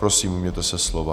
Prosím, ujměte se slova.